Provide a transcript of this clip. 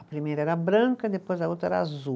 A primeira era branca, depois a outra era azul.